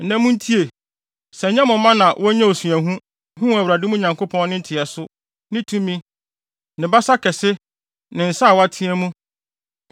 Nnɛ, muntie, sɛ ɛnyɛ mo mma na wonyaa osuahu, huu Awurade, mo Nyankopɔn no nteɛso, ne tumi, ne basa kɛse, ne nsa a wateɛ mu;